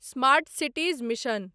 smart cities mission